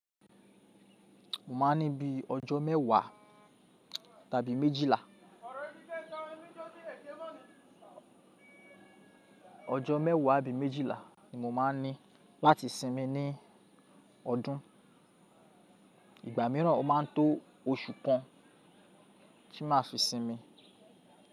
Mo máa ní bí i ọjọ́ mẹ́wàá tàbí méjìlá, ọjọ́ mẹ́wàá àbí méjìlá ni mo máa ní láti sinmi ní ọdún. Ìgbà mìíràn ó máa tó oṣù kan ti má fi sinmi.